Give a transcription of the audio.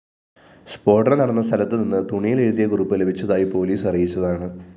സ്‌ഫോടനം നടന്ന സ്ഥലത്തുനിന്ന് തുണിയിലെഴുതിയ കുറിപ്പ് ലഭിച്ചതായി പോലീസ് അറിയിച്ചതാണ്